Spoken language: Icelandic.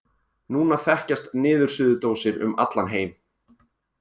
Núna þekkjast niðursuðudósir um allan heim.